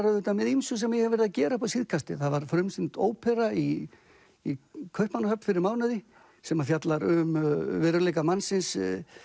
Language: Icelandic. auðvitað með ýmsu sem ég hef verið að gera upp á síðkastið það var frumsýnd ópera í í Kaupmannahöfn fyrir mánuði sem fjallar um veruleika mannsins